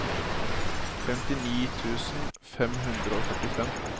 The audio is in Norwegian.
femtini tusen fem hundre og førtifem